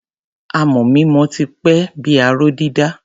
Amọ̀ mímọ ti pẹ́ bí i aró dídà.